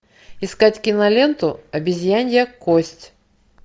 искать киноленту обезьянья кость